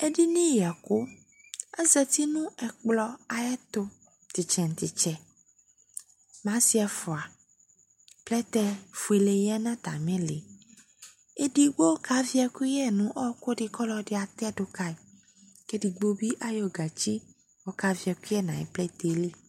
Edini yɛkʋ :azati nʋ ɛkplɔ ayɛtʋ , t'ɩtsɛ nʋ t'ɩtsɛ n'asɩ ɛfʋa ; plɛtɛ fuele yǝ n'atamɩlɩ Edigbo kavɩ ɛkʋyɛ nʋ ɔɔkʋ dɩ k'ɔlɔdɩ atɛdʋ kayɩ , k'edigbo bɩ ayɔ gatsi k'ɔkavɩ ɛkʋyɛ nayʋ plɛtɛɛ li